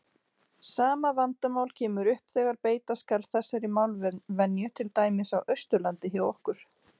Sama vandamál kemur upp þegar beita skal þessari málvenju til dæmis á Austurlandi hjá okkur.